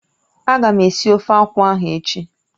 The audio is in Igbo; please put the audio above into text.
Ága m esi ofe akwụ ahụ echi.